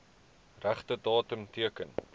regte datum teken